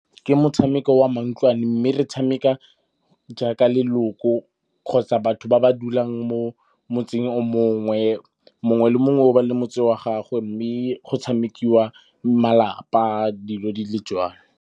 Ke motshameko wa mantlwane, mme re tshameka jaaka leloko kgotsa batho ba ba dulang mo motseng mongwe. Mongwe le mongwe o ba le motse wa gagwe mme go tshamekiwa malapa dilo di le jalo.